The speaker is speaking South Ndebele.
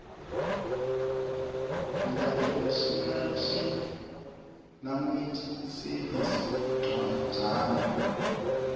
ndearticlenational language servicesincwajana